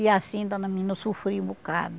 E assim, dona menina, eu sofri um bocado.